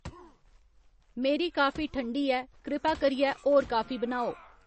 मेरी कॉफी ठंडी ऐ कृपा करियै होर कॉफी बनाओ